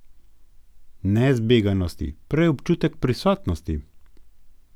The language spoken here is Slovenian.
Ne zbeganosti, prej občutek prisotnosti.